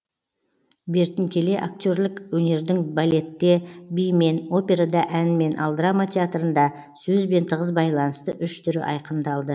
бертін келе актерлік өнердің балетте бимен операда әнмен ал драма театрында сөзбен тығыз байланысты үш түрі айқындалды